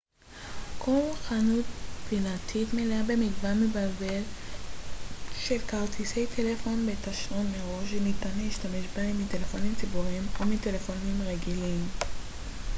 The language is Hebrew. כל חנות פינתית מלאה במגוון מבלבל של כרטיסי טלפון בתשלום מראש שניתן להשתמש בהם מטלפונים ציבוריים או מטלפונים רגילים